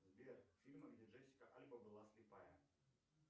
сбер фильм где джессика альба была слепая